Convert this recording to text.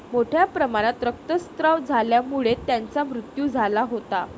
मोठ्या प्रमाणात रक्तस्राव झाल्यामुळे त्यांचा मृत्यू झाला होता.